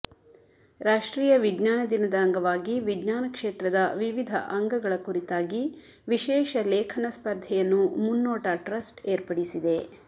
ರಾಷ್ಟ್ರೀಯ ವಿಜ್ಞಾನ ದಿನದ ಅಂಗವಾಗಿ ವಿಜ್ಞಾನ ಕ್ಷೇತ್ರದ ವಿವಿಧ ಅಂಗಗಳ ಕುರಿತಾಗಿ ವಿಶೇಷ ಲೇಖನ ಸ್ಪರ್ಧೆಯನ್ನು ಮುನ್ನೋಟ ಟ್ರಸ್ಟ್ ಏರ್ಪಡಿಸಿದೆ